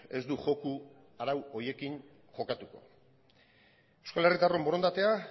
ez du joko arau horiekin jokatuko euskal herritarron borondatea